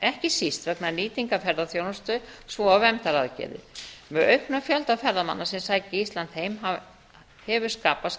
ekki síst vegna nýtingar ferðaþjónustu svo og verndaraðgerðir með auknum fjölda ferðamanna sem sækja ísland heim hefur skapast